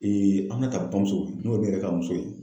Ee Aminata bamuso n'o ye ne yɛrɛ ka muso ye.